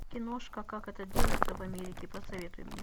киношка как это делается в америке посоветуй мне